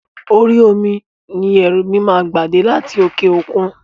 Orí omi ni ẹrú mi máa gba dé láti òkè òkun.